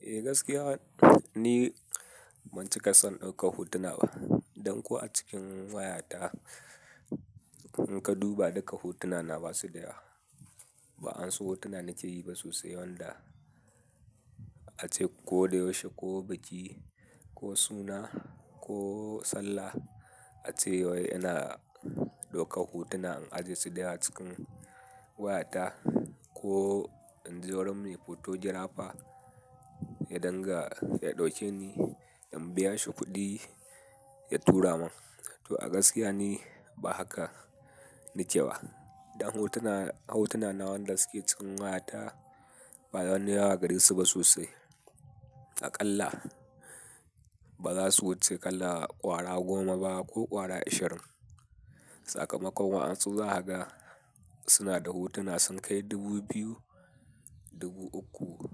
Eh gaskiya ni, ban cika san ɗaukar hotuna ba. Dan ko a cikin wayata in ka duba duka hotunana basu da yawa. Ba wa'an su hotuna nake yi ba sosai wanda ace ko da yaushe ko biki ko suna ko sallah, ace wai yana ɗaukar hotuna in ajiye su da yawa cikin wayata. Ko in je wurin mai Photographer. Ya danga, ya ɗauke ni in biya shi kuɗi ya tura mun. To a gaskiya ni, ba haka nike ba. Dan hotuna, hotunana wanda suke cikin wayata ba wani yawa gare su ba sosai. A ƙalla ba za su wuce ƙalla ƙwara goma ba ko ƙwara ashirin. Sakamakon wa'an su za kaga suna da hotuna sun kai dubu biyu, dubu uku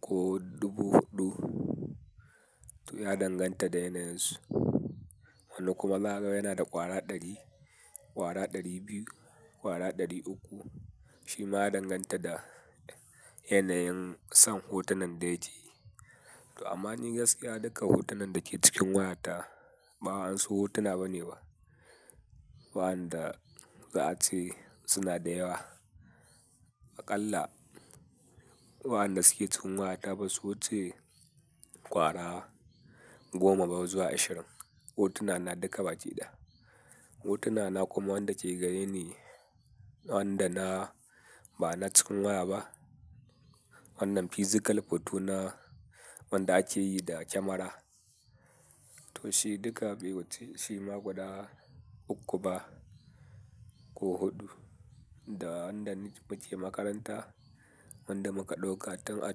ko dubu huɗu. To ya danganta da yanayin su. Wani kuma za kaga yana da ƙwara ɗari, ƙwara ɗari biyu, ƙwara ɗari uku. Shima ya danganta da yanayin son hotunan da yake yi. To amma ni gaskiya duka hotunan da ke cikin wayata ba wa'an su hotuna bane ba. Waɗanda za a ce suna da yawa. A ƙalla waɗanda suke cikin wayata ba su wuce ƙwara goma ba zuwa ashirin. Hotunana duka baƙi ɗaya. Hotunana kuma wanda ke gare ni wanda na bana cikin waya ba. Wannan physical hoto na wanda ake yi da kyamara. To shi duka bai wuce shi ma guda uku ba ko huɗu. Da wanda muke makaranta, wanda muka ɗauka tun a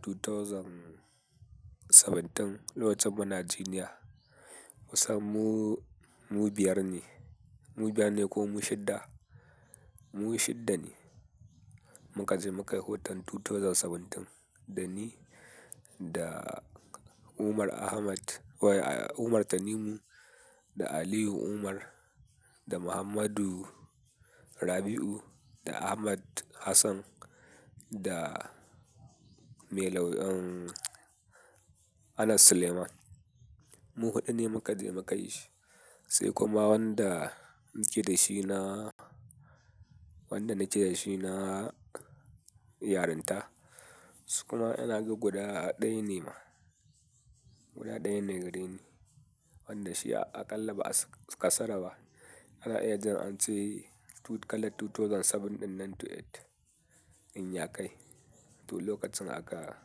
2017 lokacin muna jiniya. Kusan mu, mu biyar ne, mu biyar ne ko mu shida? Mu shida ne, mu kaje mu kayi hoton 2017. Da ni da Umar Ahmad wai Umar Tanimu da Aliyu Umar da Muhammadu Rabi'u da Ahmad Hassan da Mai lauyan Anas Suleiman. Mu huɗu ne muka je muka yi shi. Sai kuma wanda nake dashi na wanda nake da shi na yarinta. Kuma inaga guda ɗaya ne ma. Guda ɗaya ne gare ni wanda shi a ƙalla ba a kasara ba. Ana iya jin ance kalar 2017 nan to eight in ya kai. To lokacin aka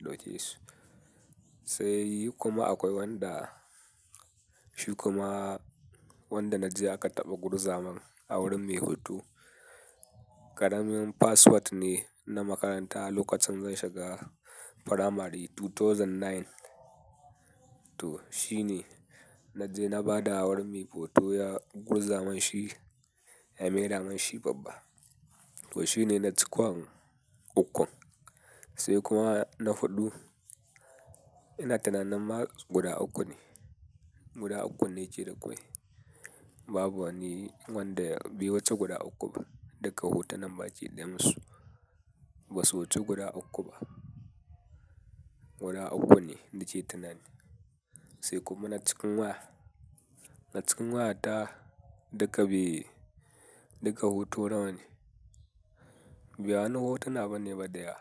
dauke su. Sai kuma akwai wanda shi kuma, wanda naje aka taba gurzamin a wurin mai hoto. Karamin password ne na makaranta lokacin zan shiga primary 2009. To shine naje na bada wurin mai hoto ya gurzamin shi ya maida mun shi babba. To shine na cikon ukun. Sai kuma na huɗu, ina tunanin ma guda uku ne. Guda ukun ne ke da kwai. Babu wani wanda bai wuce guda uku ba. Duka hotunan baƙi ɗayan su basu wuce guda uku ba. Guda uku ne nake tunani. Sai kuma na cikin waya, na cikin wayata duka biyu, duka hoto nawa ne. Bawani na hotuna bane ba da yawa.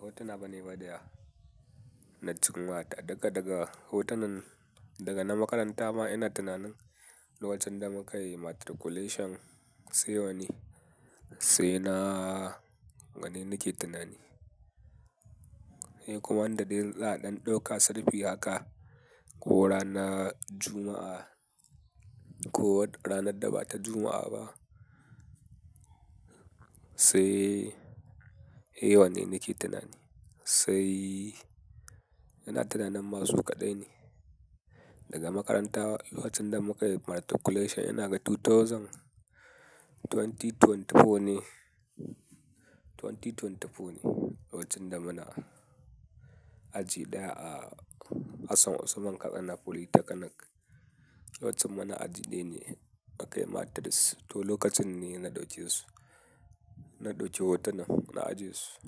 Hotuna bane ba da yawa na cikin wayata. Daga daga hotunan daga na makaranta ma ina tunanin lokacin da mu kayi matriculation sai wanne sai na wanne nake tunani. Sai kuma wanda za'a dan dauka selfie haka, ko ranar Juma'a ko ranar da ba ta Juma'a ba. Sai, eh wanne nake tunani. Sai ina tunanin ma su kaɗai ne. Daga makaranta lokacin da mu ka yi matriculation ina ga 2024 ne. 2024 ne lokacin da muna aji ɗaya a Hassan Usman Katsina Polytechnic. Lokacin muna aji ɗaya ne muka yi matric. To lokacin ne na dauke su. Na dauki hotunan, na ajje su.